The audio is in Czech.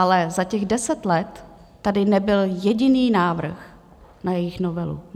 Ale za těch deset let tady nebyl jediný návrh na jejich novelu.